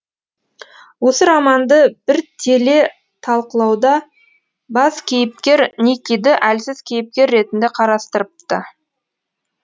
осы романды бір теле талқылауда бас кейіпкер никиді әлсіз кейіпкер ретінде қарастырыпты